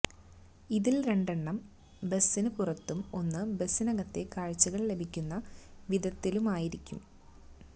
ഇതിൽ രണ്ടെണ്ണം ബസിന് പുറത്തും ഒന്ന് ബസിനകത്തെ കാഴ്ചകൾ ലഭിക്കുന്ന വിധത്തിലുമായിരിക്കും